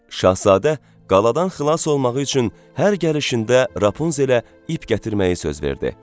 Şahzadə qaladan xilas olmağı üçün hər gəlişində Rapunzelə ip gətirməyi söz verdi.